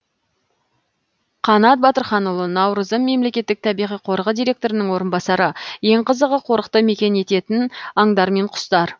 қанат батырханұлы наурызым мемлекеттік табиғи қорығы директорының орынбасары ең қызығы қорықты мекен ететін аңдар мен құстар